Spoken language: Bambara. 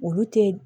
Olu tɛ